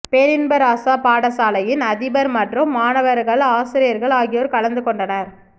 பேரின்பராசா பாடசாலையின் அதிபர் மற்றும் மாணவர்கள ஆசிரியர்கள் ஆகியோர் கலந்துகொண்டனர்